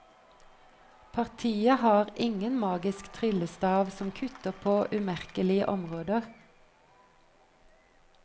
Partiet har ingen magisk tryllestav som kutter på umerkelige områder.